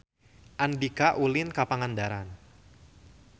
Andika ulin ka Pangandaran